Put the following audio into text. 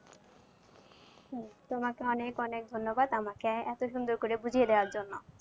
তোমাকে অনেক অনেক ধন্যবাদ আমাকে এতো সুন্দর করে বুঝিয়ে দেওয়ার জন্য।